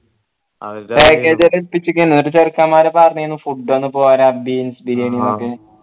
package ഒക്കെ ഏല്പിച്ചിക്ക് എന്നിട്ട് ചെറുക്കന്മാർ പറഞ്ഞീന് food ഒന്ന് പോരാ beans biriyani